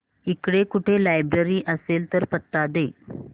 इकडे कुठे लायब्रेरी असेल तर पत्ता दे